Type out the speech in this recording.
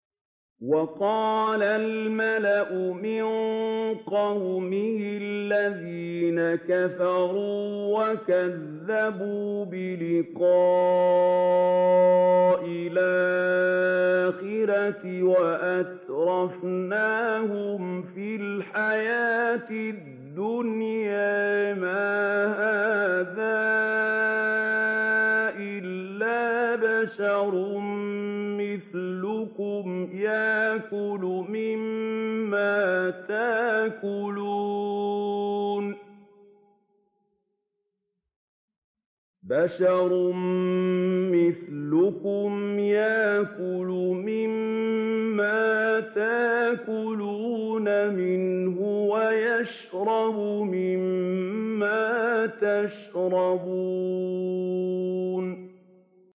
وَقَالَ الْمَلَأُ مِن قَوْمِهِ الَّذِينَ كَفَرُوا وَكَذَّبُوا بِلِقَاءِ الْآخِرَةِ وَأَتْرَفْنَاهُمْ فِي الْحَيَاةِ الدُّنْيَا مَا هَٰذَا إِلَّا بَشَرٌ مِّثْلُكُمْ يَأْكُلُ مِمَّا تَأْكُلُونَ مِنْهُ وَيَشْرَبُ مِمَّا تَشْرَبُونَ